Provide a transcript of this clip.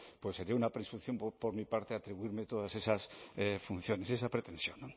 pues sería una presunción por mi parte atribuirme todas esas funciones esa pretensión